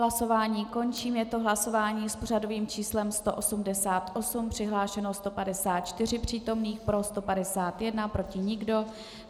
Hlasování končím, je to hlasování s pořadovým číslem 188, přihlášeno 154 přítomných, pro 151, proti nikdo.